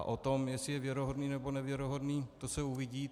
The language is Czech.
A o tom, jestli je věrohodný, nebo nevěrohodný, to se uvidí.